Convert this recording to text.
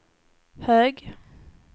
hög